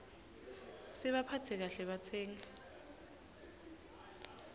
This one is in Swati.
sibaphatse kahle batsengi